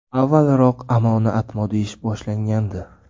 Avvalroq Amoni Atmo deyish boshlangandi.